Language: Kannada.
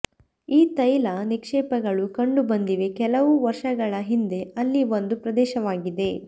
ಈ ತೈಲ ನಿಕ್ಷೇಪಗಳು ಕಂಡುಬಂದಿವೆ ಕೆಲವು ವರ್ಷಗಳ ಹಿಂದೆ ಅಲ್ಲಿ ಒಂದು ಪ್ರದೇಶವಾಗಿದೆ